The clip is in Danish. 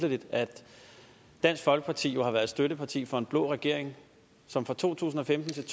det vitterlig at dansk folkeparti jo har været støtteparti for en blå regering som fra to tusind og femten